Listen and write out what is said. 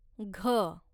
घ